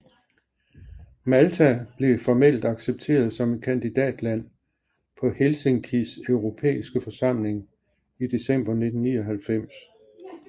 Malta blev formelt accepteret som et kandidatland på Helsinkis Europæiske Forsamling i december 1999